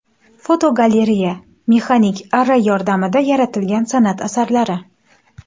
Fotogalereya: Mexanik arra yordamida yaratilgan san’at asarlari.